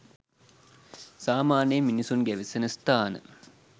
සාමාන්‍යයෙන් මිනිසුන් ගැවසෙන ස්ථාන